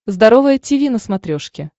здоровое тиви на смотрешке